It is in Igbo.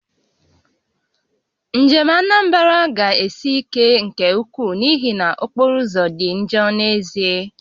Njem Anambra ga-esi ike nke ukwuu n'ihi na okporoụzọ dị njọ n'ezie